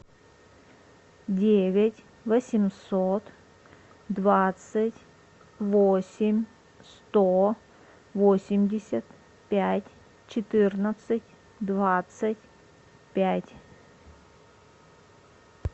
девять восемьсот двадцать восемь сто восемьдесят пять четырнадцать двадцать пять